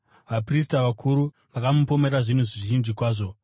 Vaprista vakuru vakamupomera zvinhu zvizhinji kwazvo.